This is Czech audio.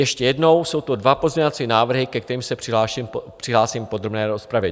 Ještě jednou, jsou to dva pozměňovací návrhy, ke kterým se přihlásím v podrobné rozpravě.